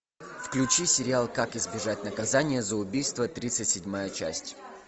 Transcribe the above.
включи сериал как избежать наказания за убийство тридцать седьмая часть